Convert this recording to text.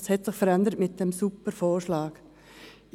Was hat sich mit dem Super-Vorschlag verändert?